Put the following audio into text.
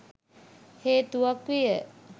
හේතුවක් විය.